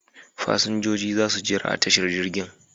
Fasinjojin za su jira a tashar jirgin.